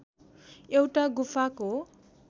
एउटा गुफाको